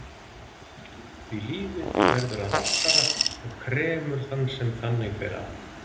Því lífið verður að valtara og kremur þann sem þannig fer að.